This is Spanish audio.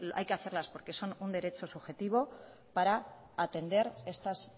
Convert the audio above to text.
hay que hacerlas porque son un derecho subjetivo para atender estas